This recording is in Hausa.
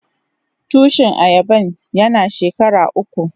Tushin ayaban yana shekara uku.